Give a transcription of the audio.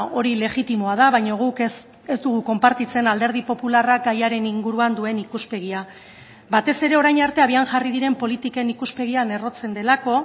hori legitimoa da baina guk ez dugu konpartitzen alderdi popularrak gaiaren inguruan duen ikuspegia batez ere orain arte abian jarri diren politiken ikuspegian errotzen delako